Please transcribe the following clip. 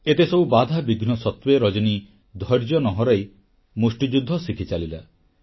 ଏତେସବୁ ବାଧାବିଘ୍ନ ସତ୍ତ୍ୱେ ରଜନୀ ଧୈର୍ଯ୍ୟ ନ ହରାଇ ମୁଷ୍ଟିଯୁଦ୍ଧ ଶିଖିଚାଲିଲା